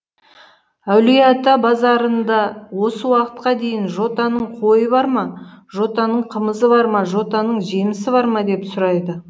әулиеата базарында осы уақытқа дейін жотаның қойы бар ма жотаның қымызы бар ма жотаның жемісі бар ма деп сұрайды